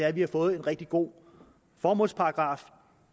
at vi har fået en rigtig god formålsparagraf